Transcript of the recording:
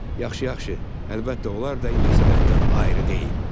Yaxşı-yaxşı, əlbəttə onlar da incəsənətdən ayrı deyil.